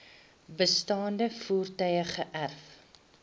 bestaande voertuie geërf